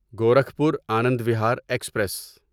Gorakhpur Anand Vihar express